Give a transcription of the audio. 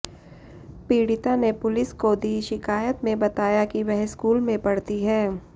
पीडि़ता ने पुलिस को दी शिकायत में बताया कि वह स्कूल में पढ़ती है